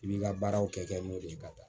I b'i ka baaraw kɛ kɛ n'o de ye ka taa